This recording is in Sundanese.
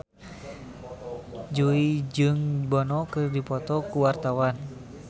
Jui jeung Bono keur dipoto ku wartawan